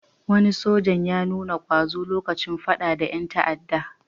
Wani soja ya nuna ƙwazo lokacin faɗa da ƴan ta'adda.